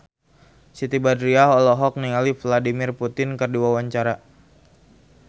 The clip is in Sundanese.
Siti Badriah olohok ningali Vladimir Putin keur diwawancara